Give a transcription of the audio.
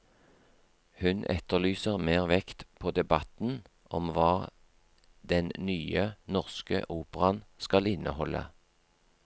Hun etterlyser mer vekt på debatten om hva den nye, norske operaen skal inneholde.